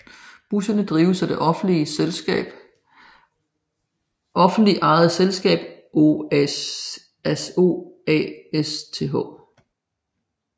Busserne drives af det offentligt ejede selskab OASTH